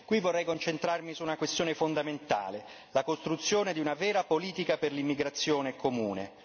Qui vorrei concentrarmi su una questione fondamentale la costruzione di una vera politica per l'immigrazione comune.